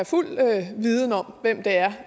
fuld viden om hvem det er